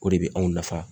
O de bɛ anw nafa